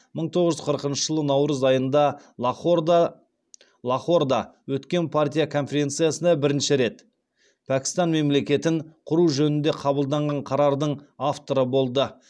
мың тоғыз жүз қырқыншы жылы наурыз айында лахорда өткен партия конференциясында бірінші рет пәкстан мемлекетін құру жөнінде қабылданған қарардың авторы болды